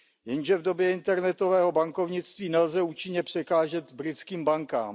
Jenže v době internetového bankovnictví nelze účinně překážet britským bankám.